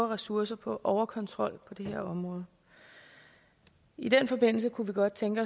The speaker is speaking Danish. ressourcer på overkontrol på det her område i den forbindelse kunne vi godt tænke